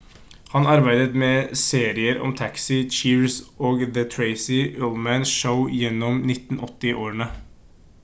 han arbeidet med serier som taxi cheers og the tracy ullman show gjennom 1980-årene